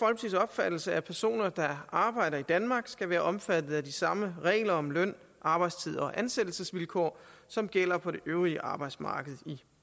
opfattelse at personer der arbejder i danmark skal være omfattet af de samme regler om løn arbejdstid og ansættelsesvilkår som gælder på det øvrige arbejdsmarked i